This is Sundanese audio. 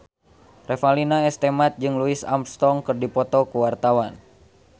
Revalina S. Temat jeung Louis Armstrong keur dipoto ku wartawan